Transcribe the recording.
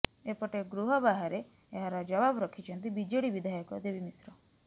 ଏପେଟ ଗୃହ ବାହାରେ ଏହାର ଜବାବ ରଖିଛନ୍ତି ବିଜେଡି ବିଧାୟକ ଦେବୀ ମିଶ୍ର